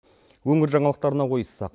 өңір жаңалықтарына ойыссақ